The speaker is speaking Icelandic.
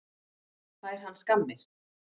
Fær hann skammir?